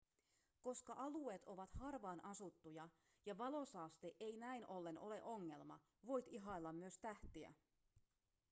koska alueet ovat harvaan asuttuja ja valosaaste ei näin ollen ole ongelma voit ihailla myös tähtiä